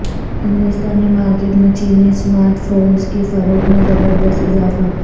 ہندوستانی مارکٹ میں چینی اسمارٹ فورنس کی فروخت میں زبردست اضافہ